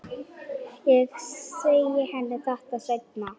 Ég segi henni þetta seinna.